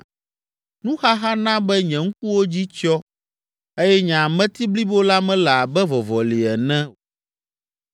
Nuxaxa na be nye ŋkuwo dzi tsyɔ eye nye ameti blibo la mele abe vɔvɔli ene.